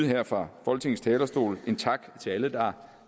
her fra folketingets talerstol skal en tak til alle der har